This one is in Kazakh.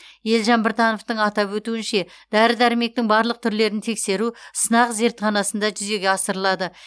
елжан біртановтың атап өтуінше дәрі дәрмектің барлық түрлерін тексеру сынақ зертханасында жүзеге асырылады